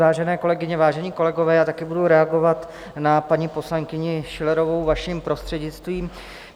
Vážené kolegyně, vážení kolegové, já také budu reagovat na paní poslankyni Schillerovou, vaším prostřednictvím.